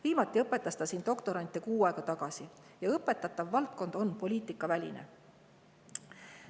Viimati õpetas ta siin doktorante kuu aega tagasi ja õpetatav valdkond on poliitikaväline.